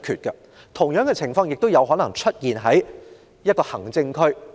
同樣情況也可能會在行政區出現。